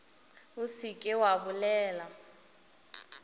o se ke wa bolela